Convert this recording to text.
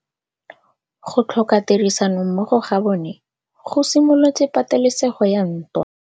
Go tlhoka tirsanommogo ga bone go simolotse patêlêsêgô ya ntwa.